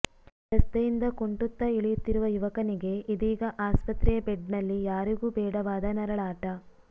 ರಸ್ತೆಯಿಂದ ಕುಂಟುತ್ತಾ ಇಳಿಯುತ್ತಿರುವ ಯುವಕನಿಗೆ ಇದೀಗ ಆಸ್ಪತ್ರೆಯ ಬೆಡ್ ನಲ್ಲಿ ಯಾರಿಗೂ ಬೇಡವಾದ ನರಳಾಟ